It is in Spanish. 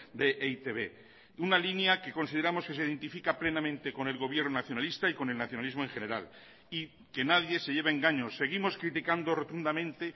de e i te be una línea que consideramos que se identifica plenamente con el gobierno nacionalista y con el nacionalismo en general y que nadie se lleve engaños seguimos criticando rotundamente